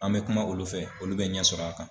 An mɛ kuma olu fɛ olu bɛ ɲɛ sɔrɔ a kan.